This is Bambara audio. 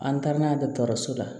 An taara n'a ye dɔgɔtɔrɔso la